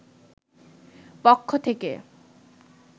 পক্ষ থেকে